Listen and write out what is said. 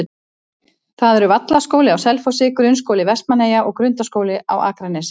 Það eru Vallaskóli á Selfossi, Grunnskóli Vestmannaeyja og Grundaskóli á Akranesi.